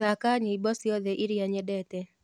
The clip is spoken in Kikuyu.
thaka nyĩmbo cĩotheĩrĩa nyendete